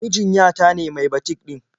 Mijin ya ta ne mai batik ɗin.